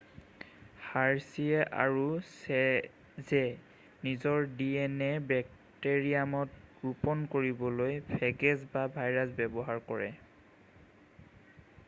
Hershey আৰু Chase নিজৰ DNA বেক্টেৰিয়ামত ৰোপন কৰিবলৈ ফেগেছ বা ভাইৰাছ ব্যৱহাৰ কৰে